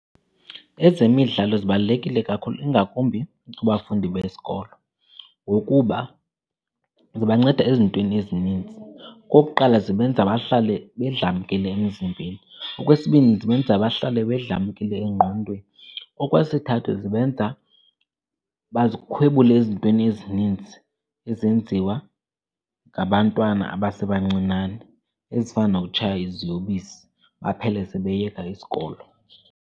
Ezemidlalo zibalulekile kakhulu ingakumbi kubafundi besikolo, ngokuba zibanceda ezintweni ezininzi. Okokuqala, zibenza bahlale bedlamkile emzimbeni. Okwesibini, zibenza bahlale bedlamkile engqondweni. Okwesithathu, zibenza bazikhwebule ezintweni ezininzi ezenziwa ngabantwana abasebancinane ezifana nokutshaya iziyobisi baphele sebeyeka isikolo.